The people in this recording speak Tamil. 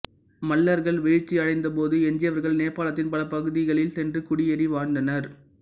மல்லர்கள் வீழ்ச்சி அடைந்த போது எஞ்சியவர்கள் நேபாளத்தின் பல பகுதிகளில் சென்று குடியேறி வாழ்ந்தனர்